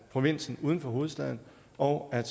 provinsen uden for hovedstaden og at